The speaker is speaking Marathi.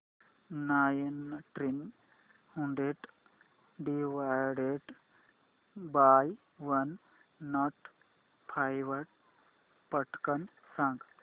nineteen hundred divided by one not five पटकन सांग